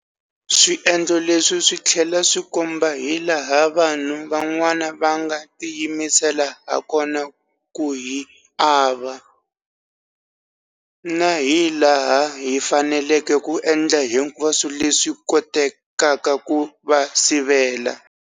Swiendlo leswi swi tlhela swi komba hilaha vanhu van'wana va nga tiyimisela hakona ku hi ava, na hilaha hi faneleke ku endla hinkwaswo leswi kotekaka ku va sivela.